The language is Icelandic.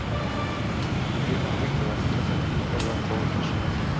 Eina mikilvæga undantekningu gerði hann þó í þessum efnum.